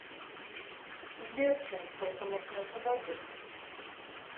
сбер через сколько начнется дождик